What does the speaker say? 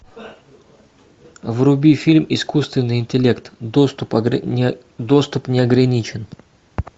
вруби фильм искусственный интеллект доступ неограничен